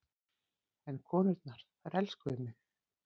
En konurnar, þær elskuðu mig.